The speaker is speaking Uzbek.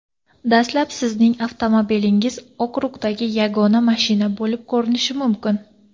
Dastlab sizning avtomobilingiz okrugdagi yagona mashina bo‘lib ko‘rinishi mumkin.